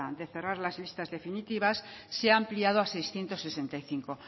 de cerrar las listas definitivas se ha ampliado a seiscientos sesenta y cinco